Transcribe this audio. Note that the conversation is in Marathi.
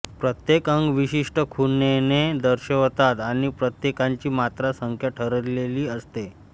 प्रत्येक अंग विशिष्ट खुणेने दर्शवतात आणि प्रत्येकाची मात्रा संख्या ठरलेली असते